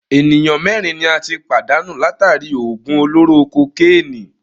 Ènìyàn mẹ́rin ni a tí pàdánù látàri í òògùn olóró kokénìí.